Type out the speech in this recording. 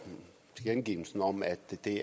det